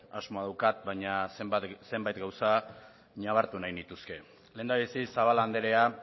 asmoa daukat baina zenbait gauza ñabartu nahi nituzke lehendabizi zabala andrea